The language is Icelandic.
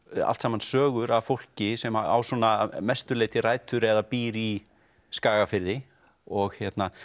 allt saman sögur af fólki sem að á svona að mestu leyti rætur eða býr í Skagafirði og